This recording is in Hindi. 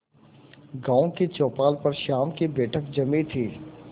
गांव की चौपाल पर शाम की बैठक जमी थी